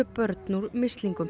börn úr mislingum